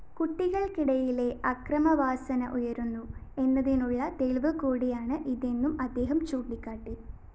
കുട്ടികള്‍ക്കിടയിലെ അക്രമവാസന ഉയരുന്നു എന്നതിനുള്ള തെളിവുകൂടിയാണ് ഇതെന്നും അദ്ദേഹം ചൂണ്ടിക്കാട്ടി